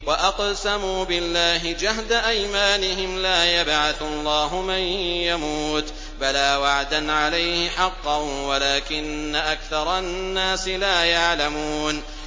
وَأَقْسَمُوا بِاللَّهِ جَهْدَ أَيْمَانِهِمْ ۙ لَا يَبْعَثُ اللَّهُ مَن يَمُوتُ ۚ بَلَىٰ وَعْدًا عَلَيْهِ حَقًّا وَلَٰكِنَّ أَكْثَرَ النَّاسِ لَا يَعْلَمُونَ